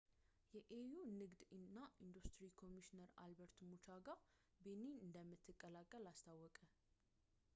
የ ኤዩ ንግድ እና ኢንዱስትሪ ኮሚሽነር አልበርት ሙቻንጋ ቤኒን እንደምትቀላቀል አስታወቀ